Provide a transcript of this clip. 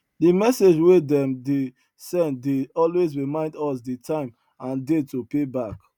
the message wey dem dey send dey always reminds us the time and date to pay back